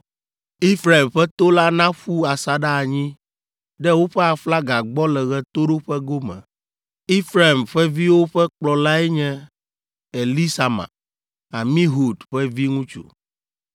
Efraim ƒe to la naƒu asaɖa anyi ɖe woƒe aflaga gbɔ le ɣetoɖoƒe gome. Efraim ƒe viwo ƒe kplɔlae nye Elisama, Amihud ƒe viŋutsu,